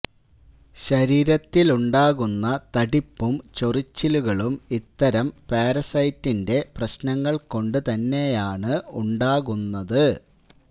ശരീരത്തിലുണ്ടാകുന്ന തടിപ്പും ചൊറിച്ചിലുകളും ഇത്തരം പാരസൈറ്റിന്റെ പ്രശ്നങ്ങള് കൊണ്ട് തന്നെയാണ് ഉണ്ടാകുന്നത്